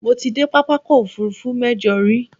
Mo ti dé pápákọ̀-òfurufú mẹ́jọ rí.